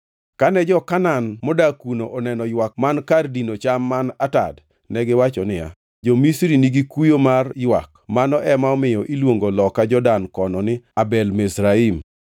Kane jo-Kanaan modak kuno oneno ywak man kar dino cham man Atad, negiwacho niya, “Jo-Misri nigi kuyo mar ywak.” Mano ema omiyo iluongo loka Jordan kono ni Abel Mizraim. + 50:11 Abel Mizraim nyiso ni ywak jo-Misri.